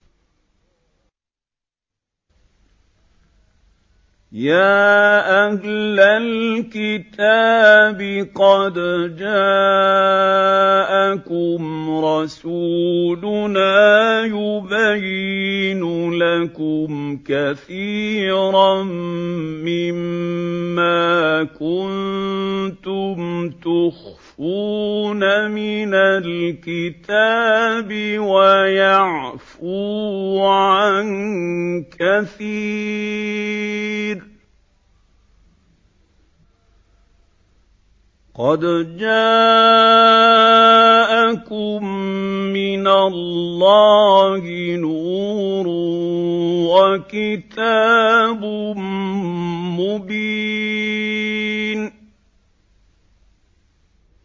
يَا أَهْلَ الْكِتَابِ قَدْ جَاءَكُمْ رَسُولُنَا يُبَيِّنُ لَكُمْ كَثِيرًا مِّمَّا كُنتُمْ تُخْفُونَ مِنَ الْكِتَابِ وَيَعْفُو عَن كَثِيرٍ ۚ قَدْ جَاءَكُم مِّنَ اللَّهِ نُورٌ وَكِتَابٌ مُّبِينٌ